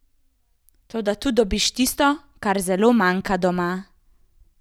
Toda tu dobiš tisto, kar zelo manjka doma.